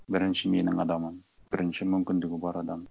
бірінші менің адамым бірінші мүмкіндігі бар адам